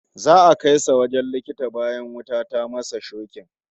Za'a kai shi wajen likita bayan wuta ta masa shokin